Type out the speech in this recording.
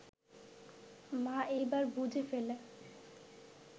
মা এবার বুঝে ফেলে